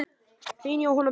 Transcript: Þín Jóhanna Birna.